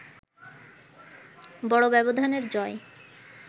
বড় ব্যবধানের জয়